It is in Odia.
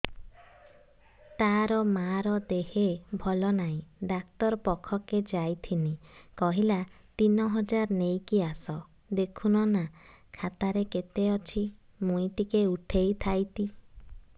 ତାର ମାର ଦେହେ ଭଲ ନାଇଁ ଡାକ୍ତର ପଖକେ ଯାଈଥିନି କହିଲା ତିନ ହଜାର ନେଇକି ଆସ ଦେଖୁନ ନା ଖାତାରେ କେତେ ଅଛି ମୁଇଁ ଟିକେ ଉଠେଇ ଥାଇତି